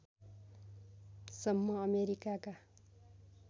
सम्म अमेरिकाका